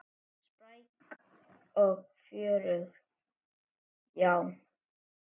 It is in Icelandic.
Spræk og fjörug, já.